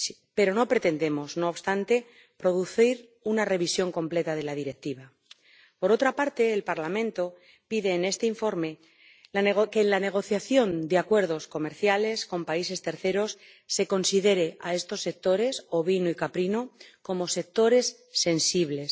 Pero no pretendemos, no obstante, producir una revisión completa de la Directiva. Por otra parte, el Parlamento pide en este informe que, en la negociación de acuerdos comerciales con países terceros, se considere a estos sectores —ovino y caprino— como sectores sensibles.